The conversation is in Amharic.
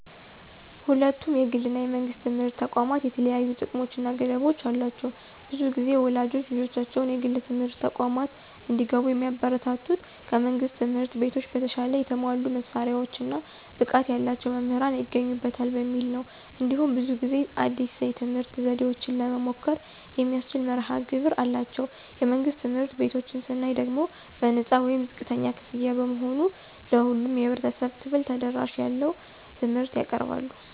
ሁለቱም የግል እና የመንግሥት ትምህርት ተቋማት የተለያዩ ጥቅሞች እና ገደቦች አሏቸው። ብዙ ጊዜ ወላጆች ልጆቻቸው የግል ትምህርት ተቋማት እንዲገቡ የሚያበረታቱት ከመንግሥት ትምህርት ቤቶች በተሻለ የተሟላ መሳሪያዎች እና ብቃት ያላቸው መምህራን ይገኙበታል በሚል ነው። እንዲሁም ብዙ ጊዜ አዲስ የትምህርት ዘዴዎችን ለመሞከር የሚያስችል መርሀ ግብር አላቸው። የመንግሥት ትምህርት ቤቶችን ስናይ ደግሞ በነፃ ወይም ዝቅተኛ ክፍያ በመሆኑ ለሁሉም የህብረተሰብ ክፍል ተደራሽነት ያለው ትምህርት ያቀርባሉ።